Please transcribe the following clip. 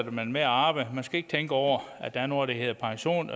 man med at arbejde man skal ikke tænke over at der er noget der hedder pension